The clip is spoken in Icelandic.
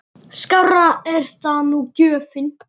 Skárri er það nú gjöfin!